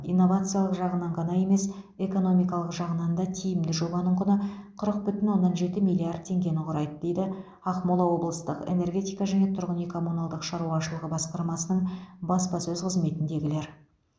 инновациялық жағынан ғана емес экономикалық жағынан да тиімді жобаның құны қырық бүтін оннан жеті миллиард теңгені құрайды дейді ақмола облыстық энергетика және тұрғын үй коммуналдық шаруашылығы басқармасының баспасөз қызметіндегілер